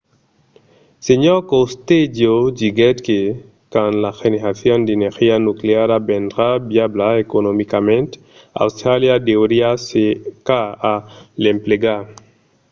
sr. costello diguèt que quand la generacion d'energia nucleara vendrà viabla economicament austràlia deuriá cercar a l'emplegar